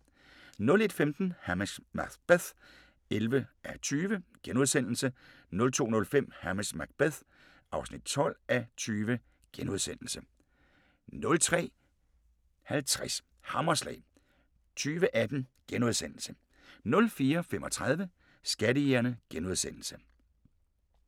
01:15: Hamish Macbeth (11:20)* 02:05: Hamish Macbeth (12:20)* 03:00: Til undsætning (40:48) 03:50: Hammerslag 2018 * 04:35: Skattejægerne *